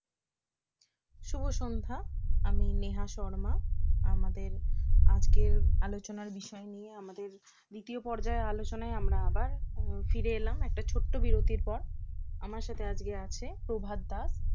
শুভ সন্ধ্যা আমি নেহা শর্মা আমাদের আজকের আলোচনার বিষয় নিয়ে আমাদের দ্বিতীয় পর্যায়ের আলোচনায় আমরা আবার ফিরে এলাম একটা ছোট্ট বিরতির পর আমার সাথে আজকে আছে প্রভাত দাস